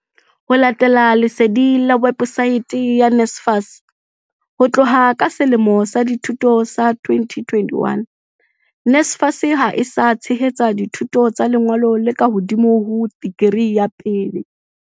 Ho latela lesedi le websaeteng ya NSFAS, ho tloha ka selemo sa dithuto sa 2021, NSFAS ha e sa tshehetsa dithuto tsa lengolo le ka hodimo ho dikri ya pele.